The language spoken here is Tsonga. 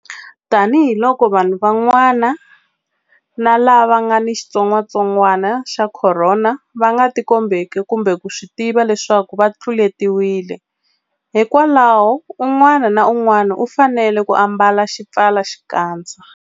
Tanihiloko vanhu van'wana lava nga ni xitsongwantsongwana xa Khorona va nga tikombeki kumbe ku swi tiva leswaku va tluletiwile, hikwalaho un'wana na un'wana u fanele ku ambala xipfalaxikandza.